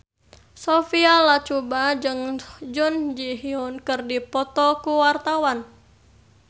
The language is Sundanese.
Sophia Latjuba jeung Jun Ji Hyun keur dipoto ku wartawan